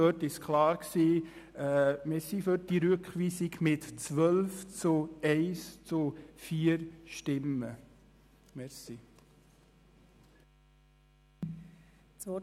Es hat sich klar ergeben, dass wir mit 12 zu 1 zu 4 Stimmen für diese Rückweisung sind.